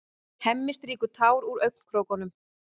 Hemmi strýkur tár úr augnakrókunum.